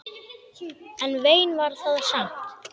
En vein var það samt.